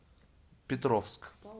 петровск